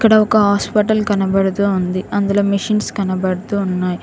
ఈడ ఒక హాస్పిటల్ కనబడుతూ ఉంది అందులో మిషన్స్ కనబడుతున్నాయి.